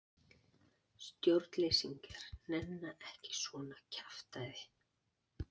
Stjórnleysingjar nenna ekki svona kjaftæði.